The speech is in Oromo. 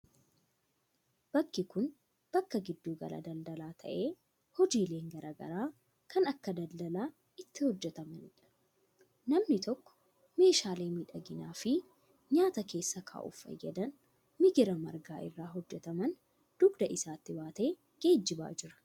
Bakki kun, bakka giddu gala daladalaa ta'e hojiileen garaa garaa kan akka daldalaa itti hojjatamanii dha. Namni tokko meeshaalee miidhaginaa fi nyaata keessa kaa'uuf fayyadan migira margaa irraa hojjataman dugda isaattti baatee geejibaa jira.